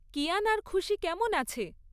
কিয়ান আর খুশি কেমন আছে?